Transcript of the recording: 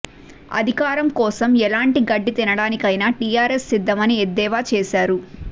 అధికారం కోసం ఎలాంటి గడ్డి తినడానికైనా టీఆర్ఎస్ సిద్ధమని ఎద్దేవా చేశారు